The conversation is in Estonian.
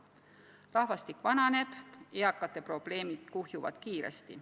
Rahvastik vananeb, eakate probleemid kuhjuvad kiiresti.